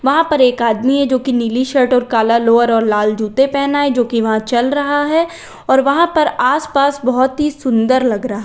वहां पर एक आदमी है जो कि नीली शर्ट और काला लोअर और लाल जूते पहना है जो कि चल रहा है और वहां पर आस पास बहोत ही सुन्दर लग रहा--